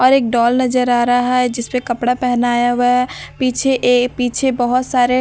और एक नजर आ रहा है जिस पे कपड़ा पेहनाया हुआ है पीछे ए पीछे बहुत सारे--